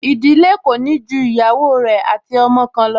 Ìdílé kò ní ju ìyàwó rẹ̀ ati ọmọ kan lọ